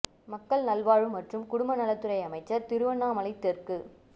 மக்கள் நல்வாழ்வு மற்றும் குடும்ப நலத் துறை அமைச்சர் திருவண்ணாமலை தெற்கு